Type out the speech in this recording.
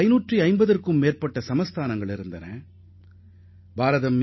550க்கும் மேற்பட்ட சமஸ்தானங்கள் அடங்கியதாக அது இருந்தது